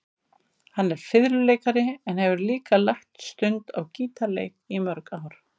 Hann er fiðluleikari en hefur líka lagt stund á gítarleik í mörg ár.